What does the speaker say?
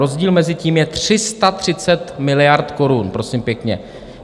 Rozdíl mezi tím je 330 miliard korun, prosím pěkně.